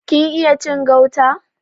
Kin iya cin gauta?